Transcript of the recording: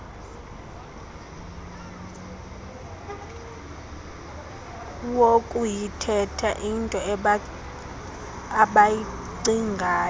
lokuyithetha intoi abayicingayo